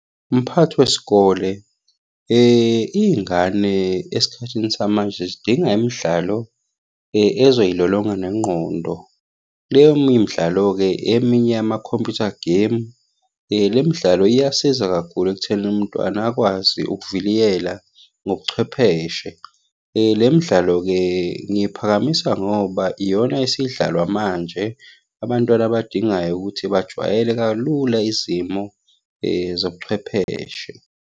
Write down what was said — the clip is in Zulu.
Mphathi wesikole, iy'ngane esikhathini samanje zidinga imidlalo ezoy'lolonga nengqondo. Leyo midlalo-ke eminye yama-computer game. Le midlalo iyasiza kakhulu ekuthenini umntwana akwazi ukuviliyela ngobuchwepheshe. Le midlalo-ke ngiphakamisa ngoba iyona esidlalwa manje, abantwana abadingayo ukuthi bajwayele kalula izimo zobuchwepheshe.